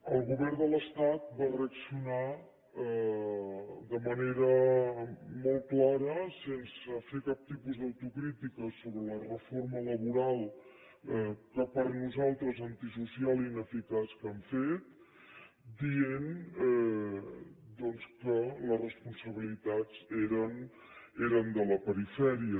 el govern de l’estat va reaccionar de manera molt clara sense fer cap tipus d’autocrítica sobre la reforma laboral per nosaltres antisocial i ineficaç que han fet dient doncs que les responsabilitats eren de la perifèria